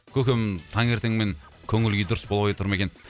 көкем таң ертеңмен көңіл күйі дұрыс болмай тұр ма екен